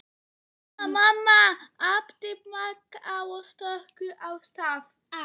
Mamma, mamma æpti Magga og stökk af stað.